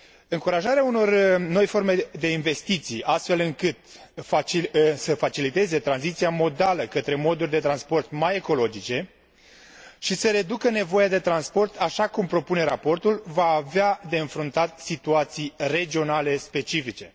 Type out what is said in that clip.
Încurajarea unor noi forme de investiții, astfel încât să faciliteze tranziția modală către moduri de transport mai ecologice și să reducă nevoia de transport, așa cum propune raportul, va avea de înfruntat situații regionale specifice.